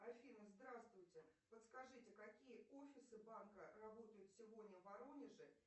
афина здравствуйте подскажите какие офисы банка работают сегодня в воронеже